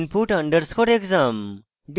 input underscore exam